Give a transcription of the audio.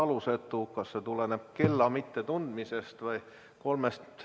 kas see tuleneb kella mittetundmisest või millestki muust.